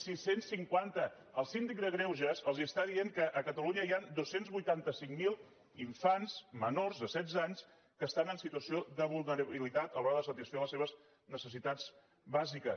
sis cents cinquanta el síndic de greuges els està dient que a catalunya hi han dos cents i vuitanta cinc mil infants menors de setze anys que estan en situació de vulnerabilitat a l’hora de satisfer les seves necessitats bàsiques